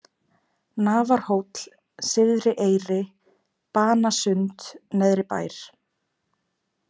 Nafarhóll, Syðri-Eyri, Banasund, Neðribær